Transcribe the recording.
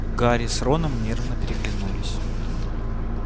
гарри с роном нервно переглянулись